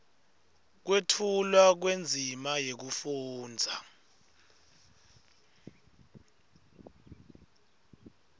kwetfulwa kwendzima yekufundza